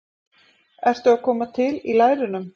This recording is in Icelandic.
ertu að koma til í lærunum?